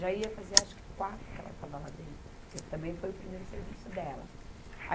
Já ia fazer acho que quatro que ela estava lá dentro, porque também foi o primeiro serviço dela.